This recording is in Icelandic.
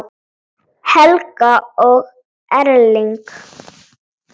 Helga og Erling.